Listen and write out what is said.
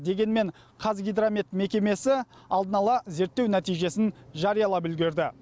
дегенмен қазгидромет мекемесі алдын ала зерттеу нәтижесін жариялап үлгерді